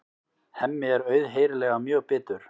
Hemmi er auðheyrilega mjög bitur.